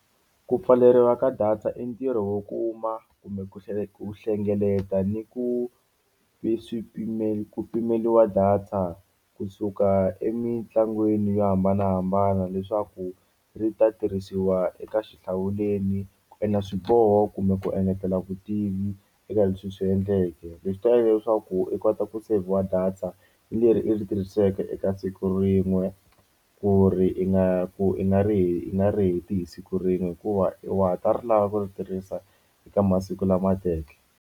Ku pfaleriwa ka data i ntirho wo kuma kumbe ku ku hlengeleta ni ku ku pimeliwa data kusuka emitlangwini yo hambanahambana leswaku ri ta tirhisiwa eka xihlawuleni ku endla swiboho kumbe ku engetela vutivi eka leswi i swi endleke, leswi ta endla leswaku i kota ku seyivhiwa data leri i ri tirhiseke eka siku rin'we ku ri ingaku i nga ri i nga ri heti hi siku rin'we hikuva i wa ha ta ri lava ku yi tirhisa eka masiku lamateke.